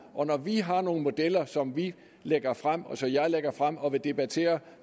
og når vi har nogle modeller som vi lægger frem og som jeg lægger frem og vil debattere